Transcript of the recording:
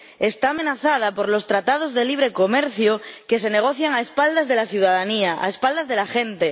Está amenazada por los tratados de libre comercio que se negocian a espaldas de la ciudadanía, a espaldas de la gente.